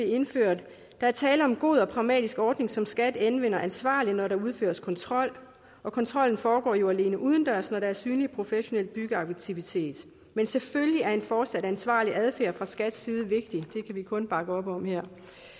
indført der er tale om en god og pragmatisk ordning som skat anvender ansvarligt når der udføres kontrol og kontrollen foregår jo alene udendørs når der er synlig professionel byggeaktivitet men selvfølgelig er en fortsat ansvarlig adfærd fra skats side vigtig det kan vi kun bakke op om her